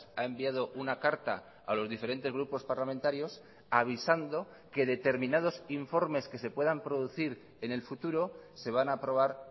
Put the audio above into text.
ha enviado una carta a los diferentes grupos parlamentarios avisando que determinados informes que se puedan producir en el futuro se van a aprobar